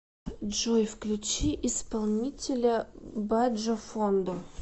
джой включи исполнителя баджофондо